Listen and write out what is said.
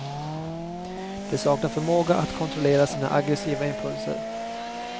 De saknar förmåga att kontrollera sina aggressiva impulser.